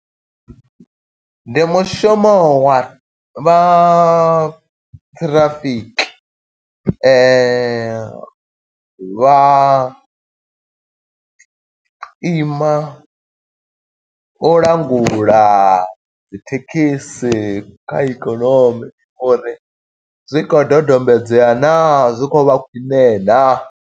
Ndi mushumo wa vha ṱhirafiki, vha ima u langula dzi thekhisi kha ikonomi, uri zwi khou dodombedzwa naa? Zwi khou vha khwiṋe naa?